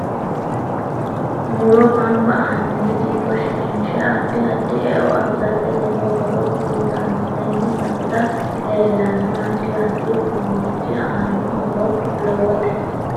Muro ganbba assine dikko shiqinshe addi addi e'o afirate lowo horo uyiitanno tenne basera leelanno addi addi uduunichi aano horo lowotte